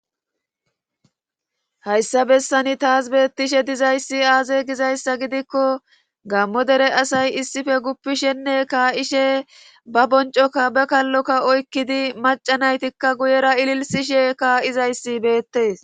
hayssa bessani taas beettishe dizayssi aaze gizayssa gidikko gammo dere asay issife guppishenne kaa7ishe ba boncokka ba kalloka oykkidi macanaytikka guyera ililsishe kaa7izayssi beettes